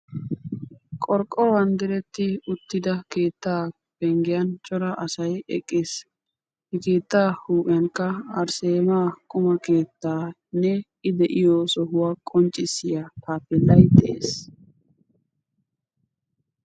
qorqqoruwan diretti uttida keetta penggiyan cora asay eqqiis. he keettan huuphiyankka arsseema quma keettanne I de'iyo sohuwa qonccissiya taappeellay de'ees.